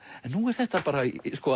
en nú er þetta bara